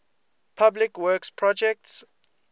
public works projects